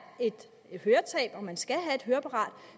et høretab og at man skal have et høreapparat